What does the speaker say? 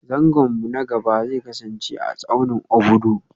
Zangon mu na gaba zai kasance a tsaunin Obudu